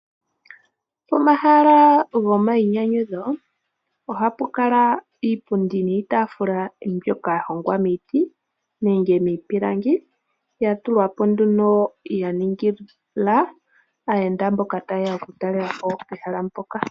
Omahala goma yinyanyutho ohapu kala iipundi niitafula mbyoka yahongwa miiti nenge miipilangi yatulwapo nduuno yaningila aayenda mboka tayeya okutalelapo ehala ndoka.